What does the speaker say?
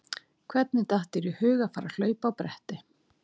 Hvernig datt þér í hug að fara að hlaupa á bretti?